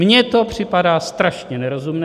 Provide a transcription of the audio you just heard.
Mně to připadá strašně nerozumné.